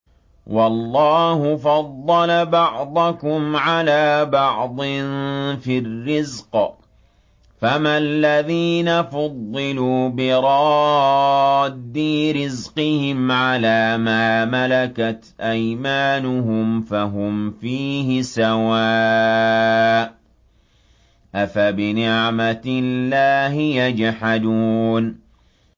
وَاللَّهُ فَضَّلَ بَعْضَكُمْ عَلَىٰ بَعْضٍ فِي الرِّزْقِ ۚ فَمَا الَّذِينَ فُضِّلُوا بِرَادِّي رِزْقِهِمْ عَلَىٰ مَا مَلَكَتْ أَيْمَانُهُمْ فَهُمْ فِيهِ سَوَاءٌ ۚ أَفَبِنِعْمَةِ اللَّهِ يَجْحَدُونَ